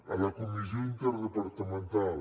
a la comissió interdepartamental